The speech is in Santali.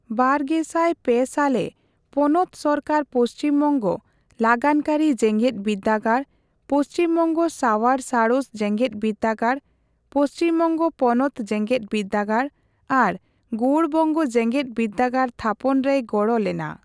ᱵᱟᱨᱜᱮᱥᱟᱭ ᱯᱮᱥᱟᱞᱨᱮ ᱯᱚᱱᱚᱛ ᱥᱚᱨᱠᱟᱨ ᱯᱚᱪᱷᱤᱢᱵᱚᱝᱜᱚ ᱞᱟᱜᱟᱱᱠᱟᱹᱨᱤ ᱡᱮᱜᱮᱫ ᱵᱤᱨᱫᱟᱹᱜᱟᱲ, ᱯᱚᱪᱷᱤᱢᱵᱚᱝᱜᱚ ᱥᱟᱣᱟᱨ ᱥᱟᱬᱮᱥ ᱡᱮᱜᱮᱫᱵᱤᱨᱫᱟᱹᱜᱟᱲ, ᱯᱚᱪᱷᱤᱢᱵᱚᱝᱜᱚ ᱯᱚᱱᱚᱛ ᱡᱮᱜᱮᱫᱵᱤᱨᱫᱟᱹᱜᱟᱲ ᱟᱨ ᱜᱳᱣᱚᱲᱵᱚᱝᱜᱚ ᱡᱮᱜᱮᱫᱵᱤᱨᱫᱟᱹᱜᱟᱲ ᱛᱷᱟᱯᱚᱱ ᱨᱮᱭ ᱜᱚᱲᱚ ᱞᱮᱱᱟ ᱾